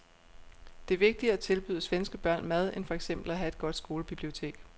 Det er vigtigere at tilbyde svenske børn mad end for eksempel at have et godt skolebibliotek.